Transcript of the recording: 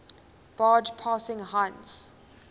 barge passing heinz